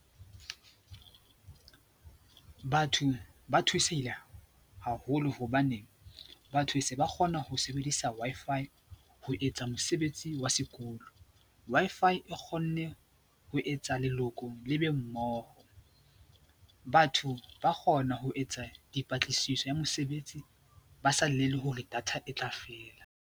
Batho ba thusehile haholo hobane batho se ba kgona ho sebedisa Wi-Fi ho etsa mosebetsi wa sekolo. Wi-Fi e kgonne ho etsa leloko le be mmoho. Batho ba kgona ho etsa dipatlisiso ya mosebetsi ba sa llele hore data e tla fela.